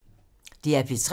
DR P3